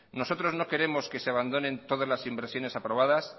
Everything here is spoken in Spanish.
nosotros no queremos que se abandonen todas las inversiones aprobadas